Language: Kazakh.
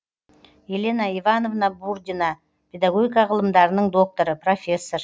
елена ивановна бурдина педагогика ғылымдарының докторы профессор